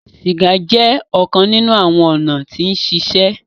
Siga jẹ ọkan ninu awọn ọna ti sise